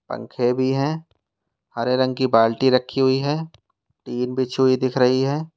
पंखे भी हैं हरे रंग की बाल्टी रखी हुई है टिन बिछी हुई दिख रही है।